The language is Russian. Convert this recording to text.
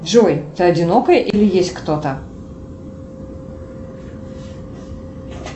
джой ты одинокая или есть кто то